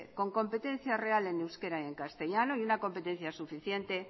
con competencia real en euskera y en castellano y una competencia suficiente